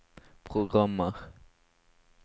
programmer